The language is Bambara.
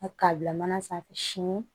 K'a bila mana sanfɛ sini